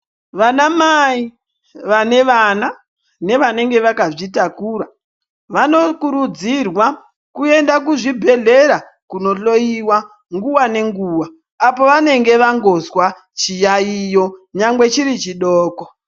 Vanamai vanevana nevanenge vakazvitakura vanokurudzirwa kuenda kuzvibhedhlera kunohloiwa nguva nenguva. Apo vanenge vangozwa chiyaiyo nyangwe chiri chidoko.